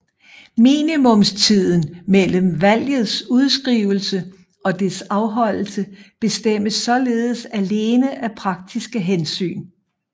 Minimumstiden mellem valgets udskrivelse og dets afholdelse bestemmes således alene af praktiske hensyn